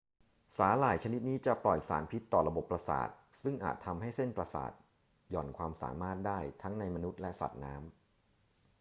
สาหร่ายชนิดนี้จะปล่อยสารพิษต่อระบบประสาทซึ่งอาจทำให้เส้นประสาทหย่อนความสามารถได้ทั้งในมนุษย์และสัตว์น้ำ